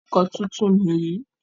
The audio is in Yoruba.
Ọkọ̀ tuntun nìyí.